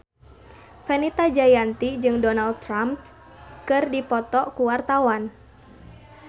Fenita Jayanti jeung Donald Trump keur dipoto ku wartawan